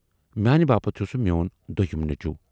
میانہِ باپتھ چھُ سُہ میون دویِم نیچوٗ۔